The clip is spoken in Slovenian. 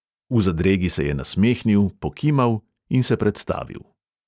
V zadregi se je nasmehnil, pokimal in se predstavil.